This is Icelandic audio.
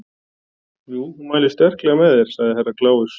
Já, hún mælir sterklega með þér, sagði Herra Kláus.